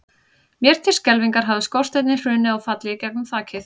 Mér til skelfingar hafði skorsteinninn hrunið og fallið inn í gegnum þakið.